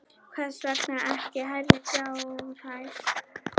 Hvers vegna ekki hærri fjárhæð?